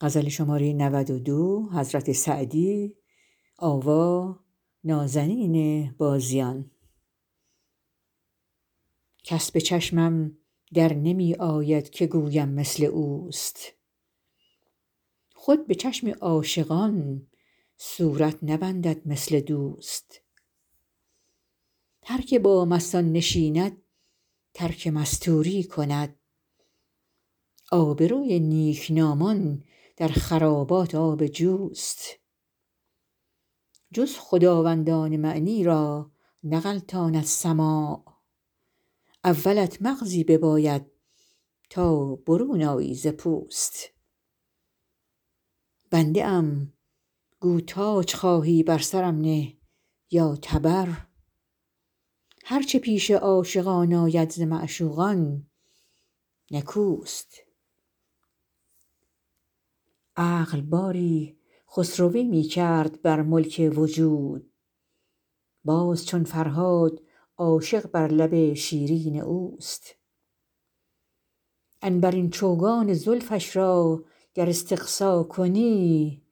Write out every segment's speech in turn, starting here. کس به چشمم در نمی آید که گویم مثل اوست خود به چشم عاشقان صورت نبندد مثل دوست هر که با مستان نشیند ترک مستوری کند آبروی نیکنامان در خرابات آب جوست جز خداوندان معنی را نغلطاند سماع اولت مغزی بباید تا برون آیی ز پوست بنده ام گو تاج خواهی بر سرم نه یا تبر هر چه پیش عاشقان آید ز معشوقان نکوست عقل باری خسروی می کرد بر ملک وجود باز چون فرهاد عاشق بر لب شیرین اوست عنبرین چوگان زلفش را گر استقصا کنی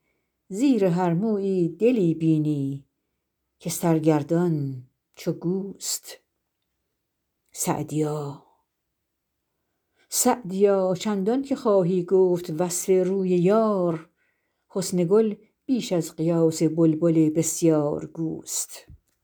زیر هر مویی دلی بینی که سرگردان چو گوست سعدیا چندان که خواهی گفت وصف روی یار حسن گل بیش از قیاس بلبل بسیارگوست